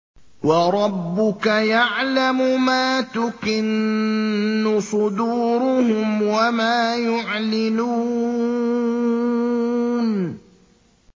وَرَبُّكَ يَعْلَمُ مَا تُكِنُّ صُدُورُهُمْ وَمَا يُعْلِنُونَ